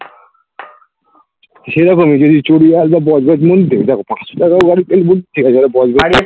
সেইরকমই যদি দেখো পাঁচশো টাকার গাড়ির তেল